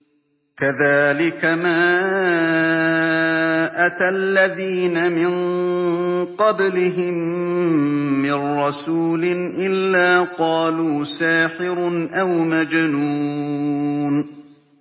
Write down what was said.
كَذَٰلِكَ مَا أَتَى الَّذِينَ مِن قَبْلِهِم مِّن رَّسُولٍ إِلَّا قَالُوا سَاحِرٌ أَوْ مَجْنُونٌ